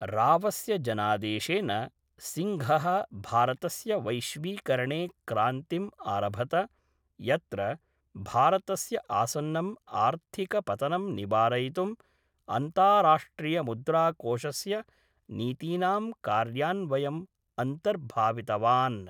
रावस्य जनादेशेन, सिंङ्घः भारतस्य वैश्वीकरणे क्रान्तिम् आरभत यत्र भारतस्य आसन्नम् आर्थिकपतनं निवारयितुं अन्ताराष्ट्रियमुद्राकोषस्य नीतीनां कार्यान्वयम् अन्तर्भावितवान् ।